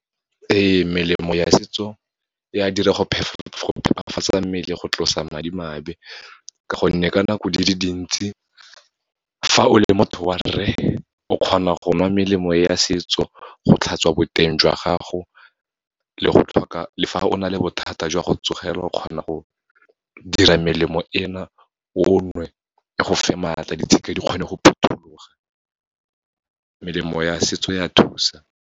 Ee, melemo ya setso, e a dira go phephafatsa mmele go tlosa madimabe, ka gonne ka nako di le dintsi fa o le motho wa rre, o kgona go nwa melemo ya setso go tlhatswa boteng jwa gago, le fa o na le bothata jwa go tsogelwa o kgona go dira melemo ena o nwe, e go fe maatla, ditshika di kgone go phuthuloga. Melemo ya setso ya thusa.